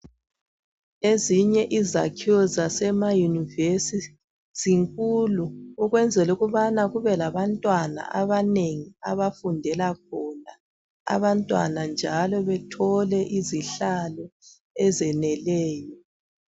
Ezinye izakhiwo zasema yunivesithi zinkulu ukuze kube labantwana abanengi abafundela khona abantwana njalo bethole izihlalo ezeneleyo.